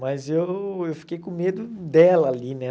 Mas eu eu fiquei com medo dela ali, né?